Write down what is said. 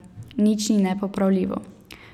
Nič ni nepopravljivo.